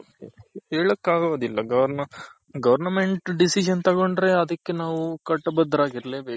ಹೇಳಕಾಗೋದಿಲ್ಲ Government Decision ತಗೊಂಡ್ರೆ ಅದಕ್ಕೆ ನಾವು ಕಟ್ಟಬದ್ದ ರಾಗಿರ್ಲೆ ಬೇಕು.